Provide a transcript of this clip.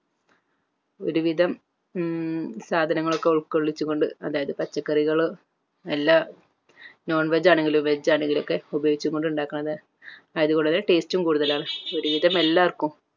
ഒരു വിധം ഉം സാധനങ്ങൾ ഒക്കെ ഉൾകൊള്ളിച്ചു കൊണ്ട് അതായത് പച്ചക്കറികളും എല്ലാ non veg ആണെങ്കിലും veg ആണെങ്കിലും ഒക്കെ ഉപയോഗിച്ചു കൊണ്ടുണ്ടാക്കുന്നത് ആയത് വളരെ taste ഉം കൂടുതലാണ് ഒരു വിധം എല്ലാർക്കും